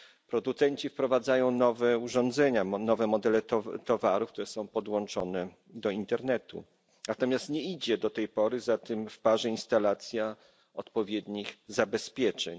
Producenci wprowadzają nowe urządzenia, nowe modele towarów, które są podłączone do Internetu, natomiast nie idzie do tej pory za tym w parze instalacja odpowiednich zabezpieczeń.